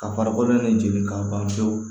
Ka farikolo in de jeni k'a ban pewu